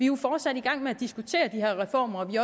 jo fortsat i gang med at diskutere de her reformer og vi